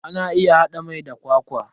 Ana iya hada mai da kwakwa.